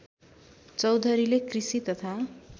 चौधरीले कृषि तथा